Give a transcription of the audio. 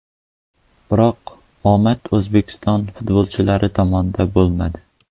Biroq omad O‘zbekiston futbolchilari tomonda bo‘lmadi.